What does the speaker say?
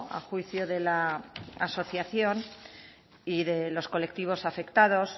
a juicio de la asociación y de los colectivos afectados